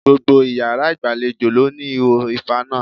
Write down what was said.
Gbogbo iyàrá ìgbàlejò ló ní ihò ìfaná